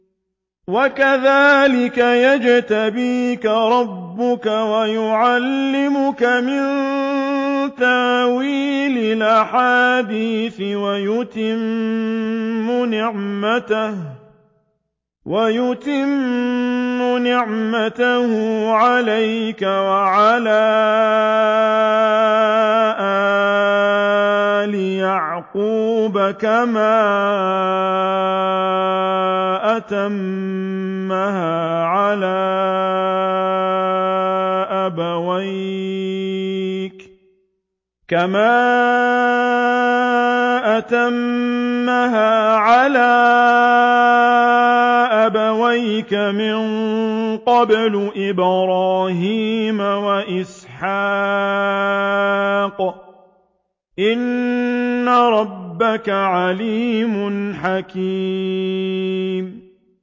وَكَذَٰلِكَ يَجْتَبِيكَ رَبُّكَ وَيُعَلِّمُكَ مِن تَأْوِيلِ الْأَحَادِيثِ وَيُتِمُّ نِعْمَتَهُ عَلَيْكَ وَعَلَىٰ آلِ يَعْقُوبَ كَمَا أَتَمَّهَا عَلَىٰ أَبَوَيْكَ مِن قَبْلُ إِبْرَاهِيمَ وَإِسْحَاقَ ۚ إِنَّ رَبَّكَ عَلِيمٌ حَكِيمٌ